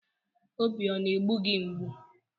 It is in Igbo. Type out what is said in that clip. Obi ọ na-egbu gị mgbụ?